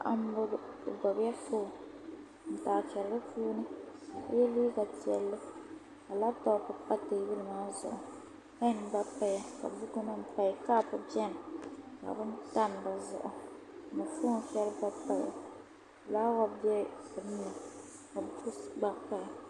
Paɣa m-bɔŋɔ o gbubila fooni n-taachiri di puuni ka o ye liiga piɛlli ka labitɔpu pa teebuli maa zuɣu peeni gba paya ka bukunima paya kɔpu beni ka bini tam di zuɣu ka foon’ shɛli gba paya fulaawa be bini ni bukisi gba paya